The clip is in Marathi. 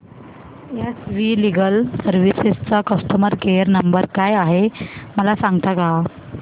एस वी लीगल सर्विसेस चा कस्टमर केयर नंबर काय आहे मला सांगता का